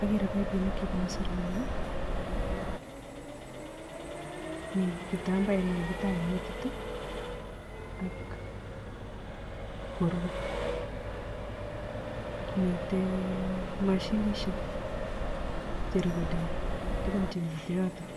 akeree paipinik chebunee serunek ii mii kitambaet nekakitaen metit i ak korue, miten mashinishek cherikodeni tukun chemiten yoton.